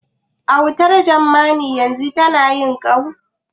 Wautar Jamani yanzun ta yi ƙau?